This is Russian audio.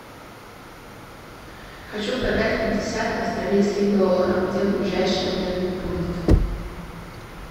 хочу продать пятьдесят австралийских долларов где ближайший обменный пункт